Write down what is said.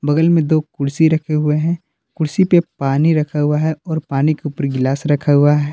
कल में दो कुर्सी रखे हुए हैं कुर्सी पे पानी रखा हुआ है और पानी के ऊपर गिलास रखा हुआ है।